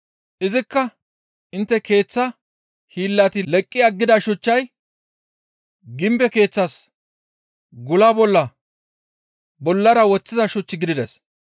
Izikka intte keeththa hiillati leqqi aggida shuchchay gimbe keeththas gula bolla bollara woththiza shuch gidides.